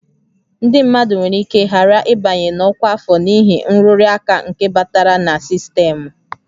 Ndị mmadụ nwere ike ghara ịbanye na ọkwa afọ n'ihi nrụrụ aka nke batara na sistemụ